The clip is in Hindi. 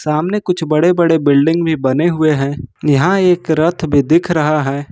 सामने कुछ बड़े बड़े बिल्डिंग भी बने हुए हैं यहां एक रथ भी दिख रहा है।